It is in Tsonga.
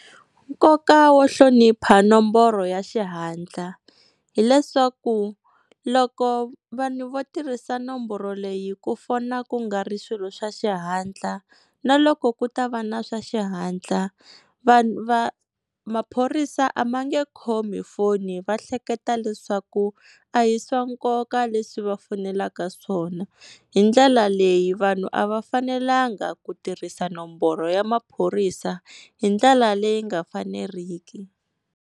Nkoka wo hlonipha nomboro ya xihatla, hileswaku loko vanhu vo tirhisa nomboro leyi ku fona ku nga ri swilo swa xihatla na loko ku ta va na swa xihatla, maphorisa a va nge khomi foni va hleketa leswaku a hi swa nkoka leswi va fonelaka swona, hi ndlela leyi vanhu a va fanelanga ku tirhisa nomboro ya maphorisa hi ndlela leyi nga faneriki.